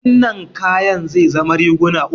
Wannan kayan zai zama riguna uku.